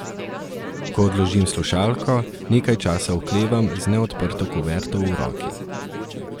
Ko odložim slušalko, nekaj časa oklevam z neodprto kuverto v roki.